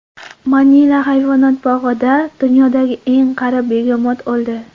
Manila hayvonot bog‘ida dunyodagi eng qari begemot o‘ldi.